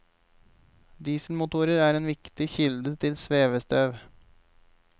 Dieselmotorer er en viktig kilde til svevestøv.